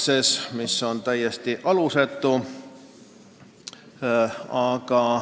See süüdistus oli täiesti alusetu.